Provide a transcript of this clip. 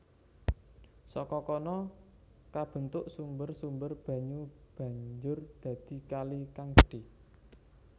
Saka kono kabentuk sumber sumber banyu banjur dadi kali kang gedhe